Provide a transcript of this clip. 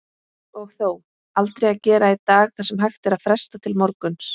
Og þó, aldrei að gera í dag það sem hægt er að fresta til morguns.